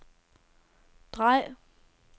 drej